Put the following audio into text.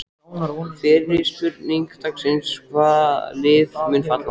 Fyrri spurning dagsins: Hvaða lið munu falla?